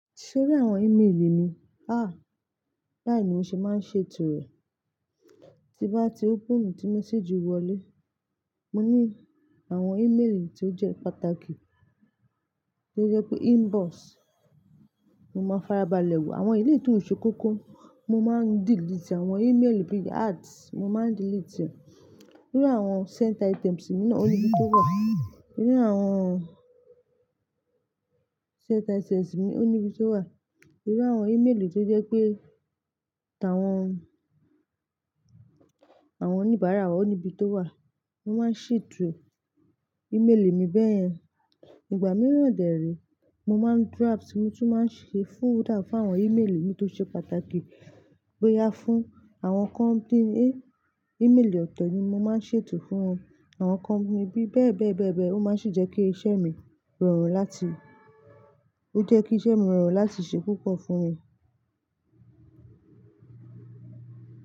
Tori àwọn email mi, há! Báyìí ni mo ṣe máa ń ṣètò rẹ̀. Ti n bá ti open tí message wọlé, mo ní àwọn email tí ó jẹ́ pàtàkì, tí ó jẹ́ pé inbox, mo máa farabalẹ̀ wò. Àwọn ìlé ìtún o ṣe kókó, mo máa ń delete. Àwọn email gbigba ads, mo máa ń delete rẹ̀. Nínú àwọn sent items mi náà, ó níbi tó wà. Nínú àwọn sent items mi, ó níbi tó wà. Nínú àwọn email tí ó jẹ́ pé, àwọn oníbàárà wa ó níbi tó wà. Mo máa ń ṣètò email mi bẹ́yẹn. Ìgbà mìíràn dèére, mo máa ń draft, mo tún máa ń ṣe folder fún àwọn email mi tó ṣe pàtàkì, bóyá fún àwọn company A, email ọ̀tọ̀ ni mo máa ń ṣètò fún wọn. Àwọn company B bẹ́ẹ̀ bẹ́ẹ̀ bẹ́ẹ̀ bẹ́ẹ̀, ó máa sì n jẹ́ kí iṣẹ́ mi rọrùn láti, ó jẹ́ kí iṣẹ́ mi rọrùn láti ṣe púpọ̀ fún mi.